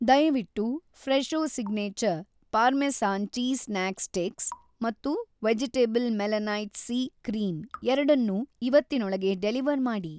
ದಯವಿಟ್ಟು‌ Fresho signature parmesan cheese snack sticks ಮತ್ತು vegetal melanite C cream ಎರಡನ್ನೂ ಇವತ್ತಿನೊಳಗೆ ಡೆಲಿವರ್‌ ಮಾಡಿ.